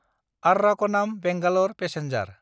आर्राकनाम–बेंगालर passenger